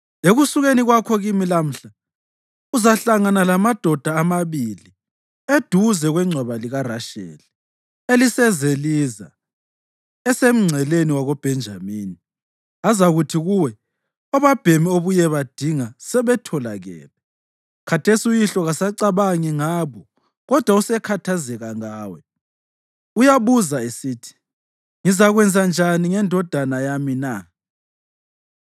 Ekusukeni kwakho kimi lamhla, uzahlangana lamadoda amabili eduze kwengcwaba likaRasheli, eliseZeliza esemngceleni wakoBhenjamini. Azakuthi kuwe, ‘Obabhemi obuyebadinga sebetholakele. Khathesi uyihlo kasacabangi ngabo kodwa usekhathazeka ngawe. Uyabuza esithi, “Ngizakwenzanjani ngendodana yami na?” ’